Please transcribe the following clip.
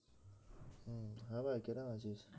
হ্যাঁ ভাই কেরম আছিস?